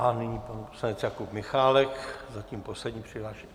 A nyní pan poslanec Jakub Michálek, zatím poslední přihlášený.